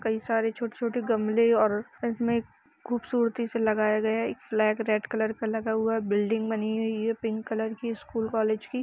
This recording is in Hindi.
काई सारे छोटे-छोटे गमले और इसमें खूबसूरती से लगाए गया एक फ्लैग रेड कलर का लगा हुआ है। बिल्डिंग बनी हुई है पिंक कलर की स्कूल कॉलेज की --